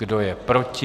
Kdo je proti?